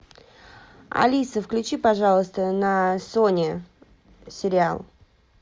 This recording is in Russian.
алиса включи пожалуйста на сони сериал